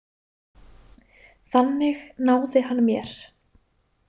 Þannig náði hann mér.